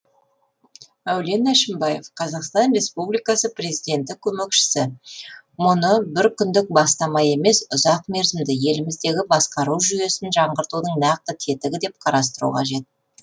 мәулен әшімбаев қазақстан республикасы президенті көмекшісі мұны бір күндік бастама емес ұзақ мерзімді еліміздегі басқару жүйесін жаңғыртудың нақты тетігі деп қарастыру қажет